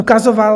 Ukazoval...